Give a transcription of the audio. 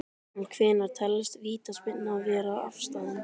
En hvenær telst vítaspyrna vera afstaðin?